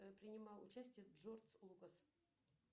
принимал участие джордж лукас